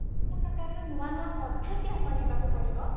ସବୁ ପ୍ରକାରର ନୂଆ ନୂଆ ପଦ୍ଧତି ଆପଣେଇବାକୁ ପଡିବ